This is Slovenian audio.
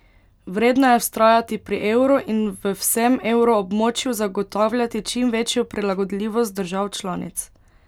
Vredno je vztrajati pri evru in v vsem evroobmočju zagotavljati čim večjo prilagodljivost držav članic.